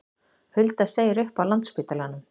Hulda segir upp á Landspítalanum